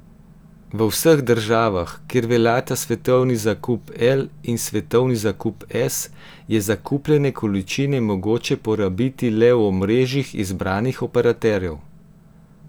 V vseh državah, kjer veljata Svetovni zakup L in Svetovni zakup S, je zakupljene količine mogoče porabiti le v omrežjih izbranih operaterjev.